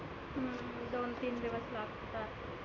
हम्म दोन तीन दिवस लागतात.